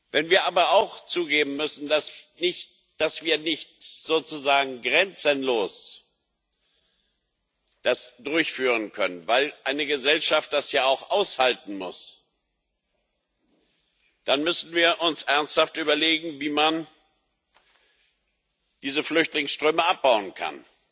Wenn wir aber auch zugeben müssen, dass wir das nicht sozusagen grenzenlos durchführen können, weil eine Gesellschaft das ja auch aushalten muss, dann müssen wir uns ernsthaft überlegen, wie man diese Flüchtlingsströme abbauen kann.